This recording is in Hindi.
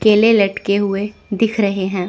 केले लटके हुए दिख रहे हैं।